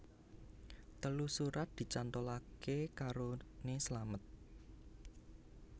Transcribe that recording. Telu surat dicantolake karone slamet